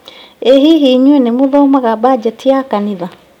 ĩ hihi inyuĩ nĩ mũthomaga mbanjeti ya kanitha?